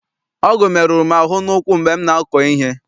Ọgụ meruru m ahụ n'ụkwụ mgbe m na-akọ ihe.